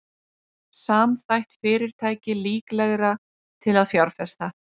Samþætt fyrirtæki líklegra til að fjárfesta